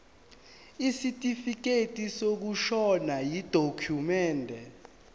isitifikedi sokushona yidokhumende